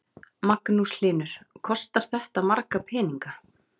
Magnús Hlynur: Kostar þetta marga peninga?